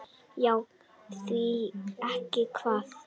Já, því ekki það?